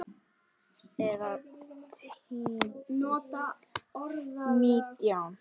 Eða nítján?